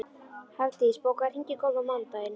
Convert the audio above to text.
Hafdís, bókaðu hring í golf á mánudaginn.